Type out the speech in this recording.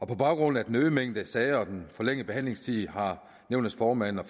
på baggrund af den øgede mængde af sager og den forlængede behandlingstid har nævnets formand og